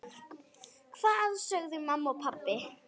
Hvað sögðu mamma og pabbi?